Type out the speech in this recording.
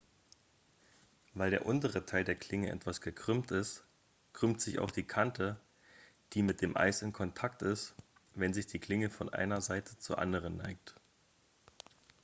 weil der untere teil der klinge etwas gekrümmt ist krümmt sich auch die kante die mit dem eis in kontakt ist wenn sich die klinge von einer seite zur anderen neigt